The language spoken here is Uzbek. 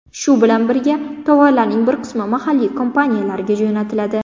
Shu bilan birga, tovarlarning bir qismi mahalliy kompaniyalarga jo‘natiladi.